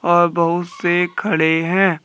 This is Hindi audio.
और बहुत से खड़े हैं।